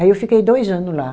Aí eu fiquei dois ano lá.